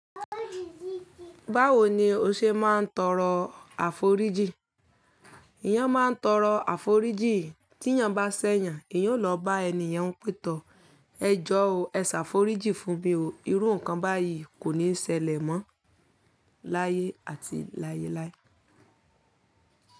Báwo ni o ṣe máa ń tọrọ àforíjì? Eyan máa ń tọrọ àforíjì, tí èèyàn bá ṣẹ̀yàn, èèyàn ó lọ bá eniyen pẹ̀ tọ̀, ẹ jọ̀ o, ẹ ṣàforíjì fún mi o. Irú nǹkan báyìí kò ní ṣẹlẹ̀ mọ́ láyé àti láyé láé.